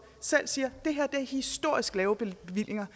selv siger at historisk lave bevillinger